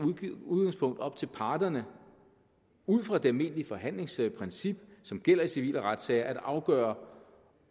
udgangspunkt op til parterne ud fra det almindelige forhandlingsprincip som gælder i civile retssager at afgøre